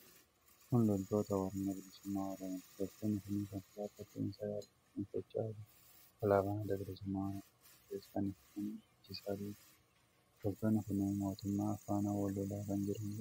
Kun loltoota Waraana Bilisummaa Oromooti. Loltoonni kun konkolaataa fe'isaa yaabbachuun sochoo'aa jiru. Alaabaa Adda Bilisummaa Oromoo kan ta'es fannifatanii dhiichisaa deemaa jiru. Loltoonni kunneen mootummaa faana wal lolaa kan jiranidha.